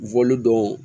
don